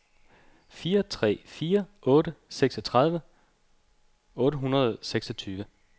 fire tre fire otte seksogtredive otte hundrede og seksogtyve